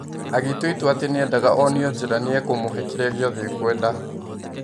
Agĩtua itua atĩ nĩendaga onio njĩra niekũmũhe kĩrĩa giothe ekwenda.